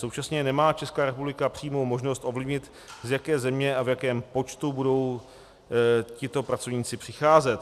Současně nemá Česká republika přímou možnost ovlivnit, z jaké země a v jakém počtu budou tito pracovníci přicházet.